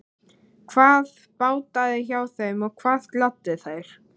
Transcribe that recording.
Hvað bjátaði á hjá þeim og hvað gladdi þær?